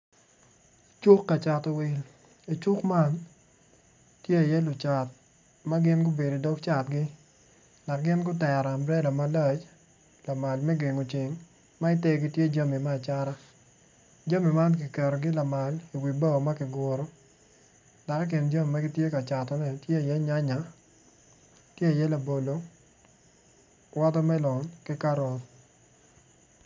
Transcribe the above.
Cuk ka cato wil i cuk man tye iye lucat ma gin gutero amburela malac lamal me gengo ceng ma itegi tye jami me acata jami man kiketogi lamal iwi bao ma kiguro dok i kin jami ma gitye ka catoni tye iye nyanya, tye iye labolo, watermelon ki karot.